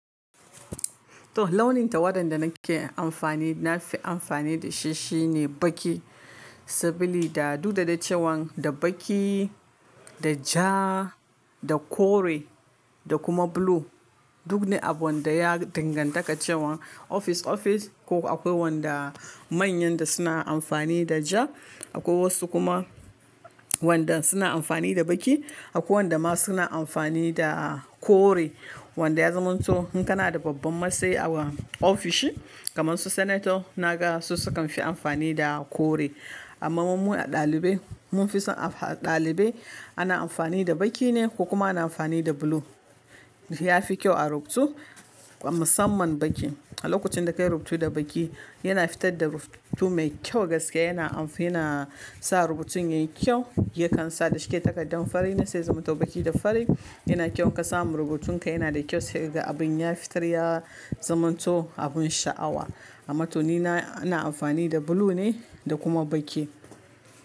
Toh launin tawadan da nake amfani na fi amfani da shi shine baki. Sabili da duk da dai cewan da baƙi, da ja, da kore, da kuma blue duk ne abin da ya danganta ka cewa ofis ofis ko akwai wanda manyan da suna amfani da ja, akwai wasu kuma wanda suna amfani da baƙi, akwai wanda ma suna amfani da kore. Wanda ya zamanto in kana da babban matsayi a ofishi kamar su sanato naga su sukan fi amfani da kore. Amma mu mu a ɗalibai mun fi son a ɗalibai ana amfani da baƙi ne ko kuma ana amfani da blue. Yafi kyau a rubutu musamman baƙi. A lokacin da ka yi rubutu da baƙi yana fitar da rubutu mai kyau gaskiya yana amf yana sa rubutun yayi kyau. Yakan sa da shike takardan fari ne sai ya zamato baƙi da fari. Yana kyau in ka samu rubutun ka yana da kyau sai ka gan abin ya fitar ya zamanto abun sha'awa. Amma toh ni na ina amfani da blue ne da kuma baƙi.